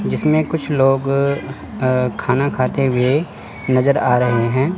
जिसमें कुछ लोग अह खाना खाते हुए नजर आ रहे है।